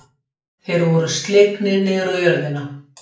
Þeir voru slegnir niður á jörðina.